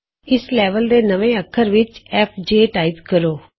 ਇਸ ਲੈਵਲ ਦੇ ਨਵੇਂ ਅੱਖਰ ਵਿਚ ਐਫ ਜੇ ਐਂਟਰ ਕਰੋ